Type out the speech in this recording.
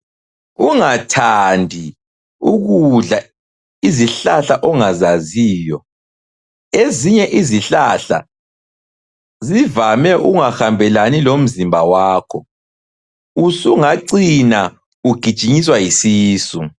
Ungathandi ukudla izihlahla ongazaziyo, ezinye izihlahla zivame ukungahambelani lomzimba wakho usungacina ugijinyiswa yisisu.